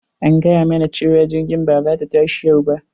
An gayamana cewa jirgin ba za ta tashi yau ba,